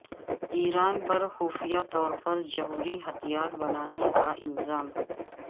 ایران پر خفیہ طور پر جوہری ہتھیار بنانے کا الزام